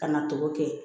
Kana to kɛ